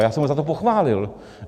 A já jsem ho za to pochválil.